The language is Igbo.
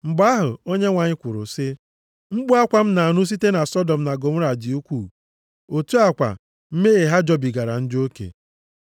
Mgbe ahụ, Onyenwe anyị kwuru sị, “Mkpu akwa m na-anụ site na Sọdọm na Gọmọra dị ukwuu, otu a kwa, mmehie ha jọbigara njọ oke.